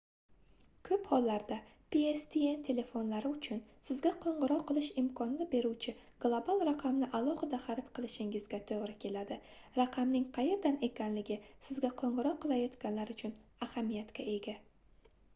koʻp hollarda pstn telefonlari uchun sizga qoʻngʻiroq qilish imkonini beruvchi global raqamni alohida xarid qilishingizga toʻgʻri keladi raqamning qayerdan ekanligi sizga qoʻngʻiroq qilayotganlar uchun ahamiyatga ega